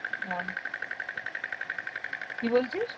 আম~ কি বলছিস?